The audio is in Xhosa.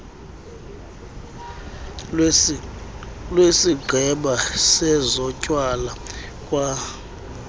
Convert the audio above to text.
lwesigqeba sezotywala kwa